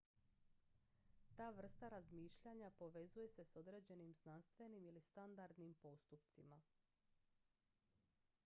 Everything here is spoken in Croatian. ta vrsta razmišljanja povezuje se s određenim znanstvenim ili standardnim postupcima